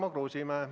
Tarmo Kruusimäe.